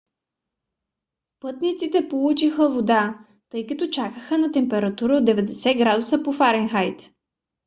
пътниците получиха вода тъй като чакаха на температура от 90 градуса по фаренхайт